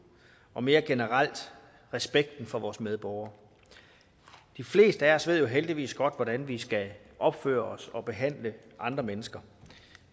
og mere generelt respekten for vores medborgere de fleste af os ved jo heldigvis godt hvordan vi skal opføre os og behandle andre mennesker